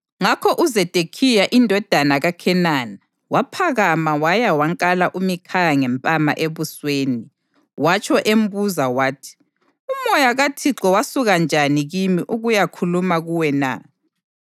Ngakho uZedekhiya indodana kaKhenana waphakama wayawakala uMikhaya ngempama ebusweni, watsho embuza wathi, “Umoya kaThixo wasuka njani kimi ukuyakhuluma kuwe na?”